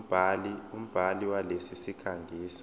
umbhali walesi sikhangisi